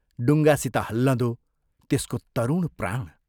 डुङ्गासित हल्लँदो, त्यसको तरुण प्राण।